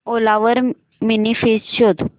ओला वर mini fridge शोध